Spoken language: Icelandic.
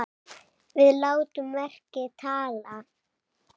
Við látum verkin tala!